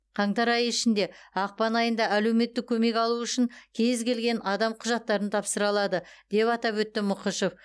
қаңтар айы ішінде ақпан айында әлеуметтік көмек алу үшін кез келген адам құжаттарын тапсыра алады деп атап өтті мұқышев